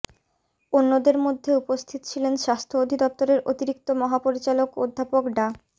অন্যদের মধ্যে উপস্থিত ছিলেন স্বাস্থ্য অধিদপ্তরের অতিরিক্ত মহাপরিচালক অধ্যাপক ডা